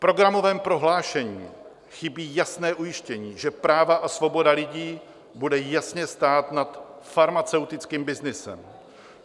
V programovém prohlášení chybí jasné ujištění, že práva a svoboda lidí budou jasně stát nad farmaceutickým byznysem.